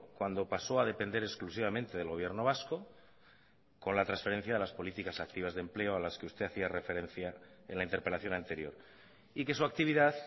cuando pasó a depender exclusivamente del gobierno vasco con la transferencia de las políticas activas de empleo a las que usted hacía referencia en la interpelación anterior y que su actividad